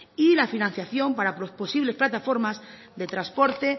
y la financiación para posibles plataformas de transporte